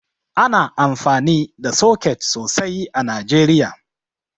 Ana amfani da soket sosai a Najeriya